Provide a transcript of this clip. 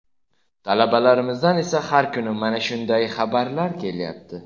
Talabalarimizdan esa har kuni mana shunday xabarlar kelyapti.